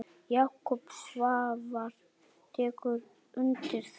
Jakob Svavar tekur undir það.